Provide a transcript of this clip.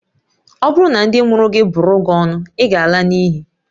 Ọ bụrụ na ndị mụrụ gị bụrụ gị ọnụ, ị ga-ala n'iyi